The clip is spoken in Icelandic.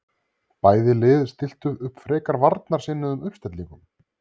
Bæði lið stilltu upp frekar varnarsinnuðum uppstillingum.